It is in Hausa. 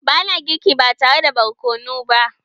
Ba na girki ba tare da borkonu ba.